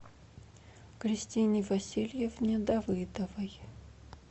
кристине васильевне давыдовой